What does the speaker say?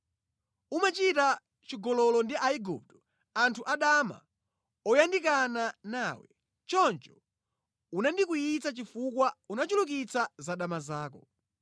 Umachita chigololo ndi Aigupto, anthu adama oyandikana nawe. Choncho unandikwiyitsa chifukwa unachulukitsa za dama zako.